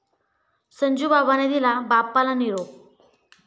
संजूबाबाने दिला बाप्पाला निरोप